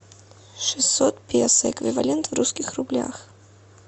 шестьсот песо эквивалент в русских рублях